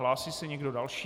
Hlásí se někdo další?